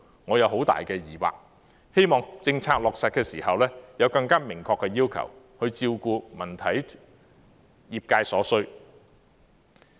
我有很大的疑惑，希望政策落實時，有更明確的要求，照顧文體業界所需。